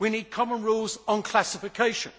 We need common rules on classification